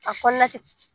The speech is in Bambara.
A kɔnɔna tɛ